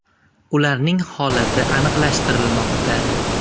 Ularning holati aniqlashtirilmoqda.